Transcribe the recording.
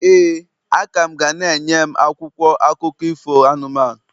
ee, a ka m ga na-enye m akwụkwọ akụkọ ifo anụmanụ.